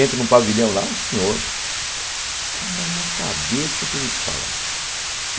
Entro num pavilhão lá, um senhor... Cara, uma cabeça que eu vou te falar!